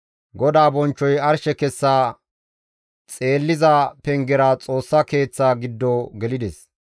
GODAA bonchchoy arshe kessa xeelliza pengera Xoossa Keeththa giddo gelides.